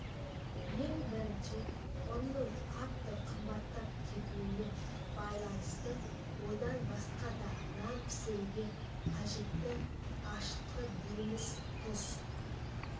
ең бірінші ұнның қатты қымбаттап кетуіне байланысты одан басқа да нан пісіруге қажетті ашытқы дейміз тұз